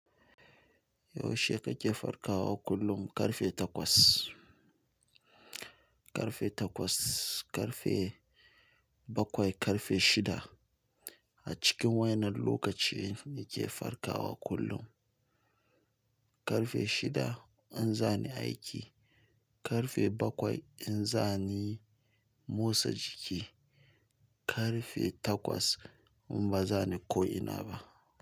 Yaushe kake farkawa kullum? Karfe takwas, karfe takwas, karfe bakwai, karfe shida. A cikin wayannan lokaci ni ke farkawa kullum. Karfe shida in za ni aiki, karfe bakwai in za ni motsa jiki, karfe takwas in ba za ni ko ina ba.